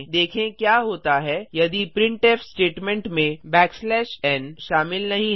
देखें क्या होता है यदि प्रिंटफ स्टेटमेंट में n शामिल नहीं है